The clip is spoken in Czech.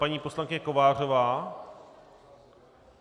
Paní poslankyně Kovářová?